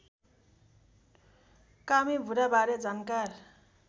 कामी बुढाबारे जानकार